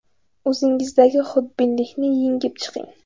O‘zingizdagi xudbinlikni yengib chiqing.